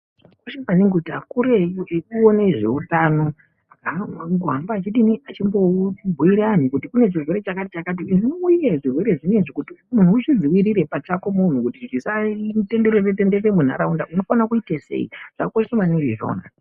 Zvakakosha maningi kuti akuru ekuone zveutano akone kuhamba achidini, achimbobhuira anhu kuti kune chirwere chakati-chakati. Zvirwere zvinezvi kuti munhu uzvidzivirire pachako munhu kuti chisatenderere-tenderere munharaunda unofane kuite sei, zvakakosha maningi izvona.